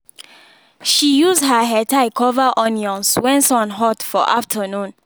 she use her headtie cover onions when sun hot for afternoon